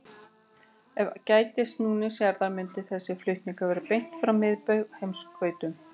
Ef ekki gætti snúnings jarðar myndi þessi flutningur vera beint frá miðbaug að heimskautunum.